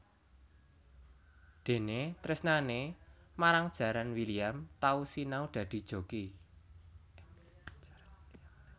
Déné tresnané marang jaran William tau sinau dadi joki